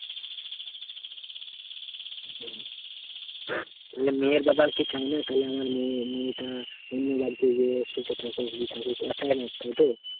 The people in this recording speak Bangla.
হম ধরলে মেয়ের বাবা কি চায় না? তাহলে আমার মেয়ে মেয়েটা অন্য বাড়িতে গিয়ে সুখে থাকুক ই থাকুক। ওরা চায়না, তাইতো?